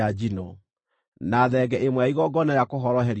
na thenge ĩmwe ya igongona rĩa kũhoroherio mehia;